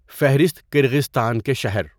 فہرست کرغیزستان کے شہر